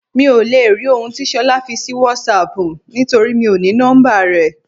Mi ò lè rí òun tí Ṣolá fi sì WhatsApp nítorí mi ò ní nọ́mbà rẹ̀.